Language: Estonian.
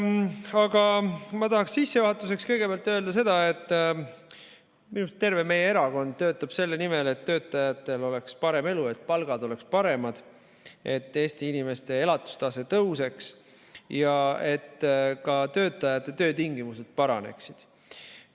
Aga ma tahan sissejuhatuseks kõigepealt öelda seda, et minu arust töötab terve meie erakond selle nimel, et töötajatel oleks parem elu, palgad oleksid paremad, Eesti inimeste elatustase tõuseks ja ka töötajate töötingimused paraneksid.